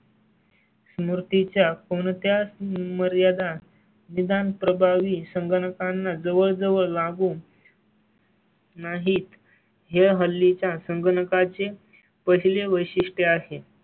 मुर्ती च्या कोणत्या मर्यादा निदान प्रभावी संगणकांना जवळ जवळ लागू. नाहीत हे हल्ली च्या संगणकांचे पहिले वैशिष्टय़ आहे.